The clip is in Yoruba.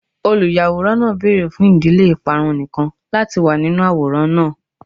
Oluyaworan naa beere fun idile iparun nikan lati wa ninu aworan naa